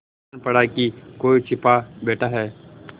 जान पड़ा कि कोई छिपा बैठा है